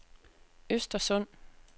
Östersund